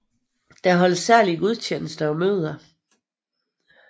Der holdes særlige gudstjenester og møder